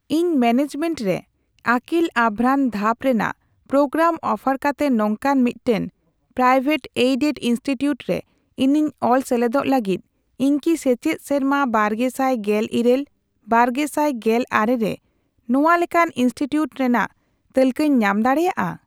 ᱤᱧ ᱢᱮᱱᱮᱡᱢᱮᱱᱴ ᱨᱮ ᱟᱹᱠᱤᱞ ᱟᱵᱷᱨᱟᱱ ᱫᱷᱟᱯ ᱨᱮᱱᱟᱜ ᱯᱨᱳᱜᱨᱟᱢ ᱚᱯᱷᱟᱨ ᱠᱟᱛᱮ ᱱᱚᱝᱠᱟᱱ ᱢᱤᱫᱴᱟᱝ ᱯᱨᱟᱭᱣᱮᱴᱼᱮᱰᱮᱰ ᱤᱱᱥᱴᱤᱴᱤᱭᱩᱴ ᱨᱮ ᱤᱧᱤᱧ ᱚᱞ ᱥᱮᱞᱮᱫᱚᱜ ᱞᱟᱹᱜᱤᱫ, ᱤᱧ ᱠᱤ ᱥᱮᱪᱮᱫ ᱥᱮᱨᱢᱟ ᱵᱟᱨᱜᱮᱥᱟᱭ ᱜᱮᱞ ᱤᱨᱟᱹᱞ ᱼᱵᱟᱨᱜᱮᱥᱟᱭ ᱜᱮᱞ ᱟᱨᱮ ᱨᱮ ᱱᱚᱣᱟ ᱞᱮᱠᱟᱱ ᱤᱱᱥᱴᱤᱴᱤᱭᱩᱴ ᱨᱮᱱᱟᱜ ᱛᱟᱹᱞᱠᱟᱹᱧ ᱧᱟᱢ ᱫᱟᱲᱮᱭᱟᱜᱼᱟ ?